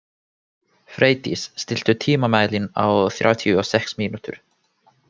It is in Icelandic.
Freydís, stilltu tímamælinn á þrjátíu og sex mínútur.